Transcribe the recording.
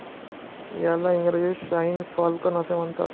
याला इंग्रजीत शाहीन फाल्कन असे म्हणतात.